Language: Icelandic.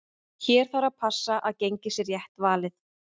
Hér þarf að passa að gengið sé rétt valið.